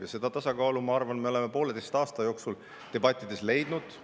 Ja seda tasakaalu, ma arvan, me oleme pooleteise aasta jooksul debattides leida.